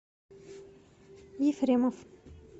ефремов